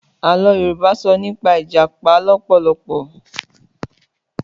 Àlọ́ Yorùbá sọ nípa Ìjàpá lọ́pọ̀lọpọ̀.